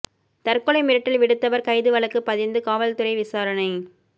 தற்கொலை மிரட்டல் விடுத்தவர் கைது வழக்கு பதிந்து காவல்துறை விசாரணை